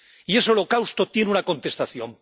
Y ese holocausto tiene una contestación.